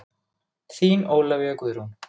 Þín Ólafía Guðrún.